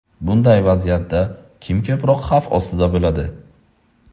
Bunday vaziyatda kim ko‘proq xavf ostida bo‘ladi?